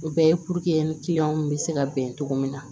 O bɛɛ ye bɛ se ka bɛn cogo min na